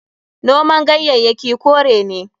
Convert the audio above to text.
Noman ganyayyaki kore ne.